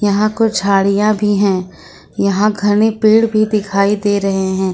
यहां कुछ झाड़ियां भी हैं यहां घने पेड़ भी दिखाई दे रहे हैं।